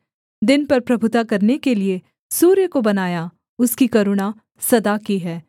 दिन पर प्रभुता करने के लिये सूर्य को बनाया उसकी करुणा सदा की है